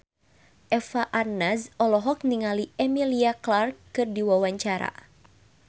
Eva Arnaz olohok ningali Emilia Clarke keur diwawancara